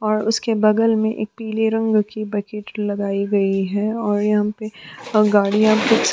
और उसके बगल में एक पीले रंग की बकेट लगाई गई है और यहां पर गाड़ियां -